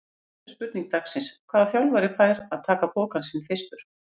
Síðari spurning dagsins: Hvaða þjálfari fær að taka pokann sinn fyrstur?